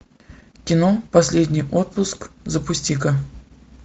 кино последний отпуск запусти ка